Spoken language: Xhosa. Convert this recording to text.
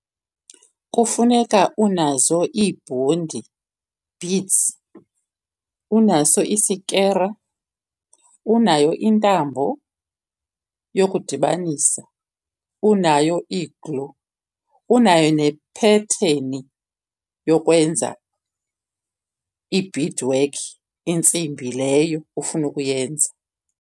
Kufuneka unazo ibhondi, beads, unaso isikere, unayo intambo yokudibanisa, unayo i-glue, unayo nephetheni yokwenza i-beadwork, intsimbi leyo ufuna ukuyenza.